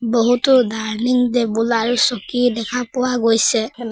বহুতো দৰ্লিং টেবুল আৰু চকী দেখা পোৱা গৈছে হেল' --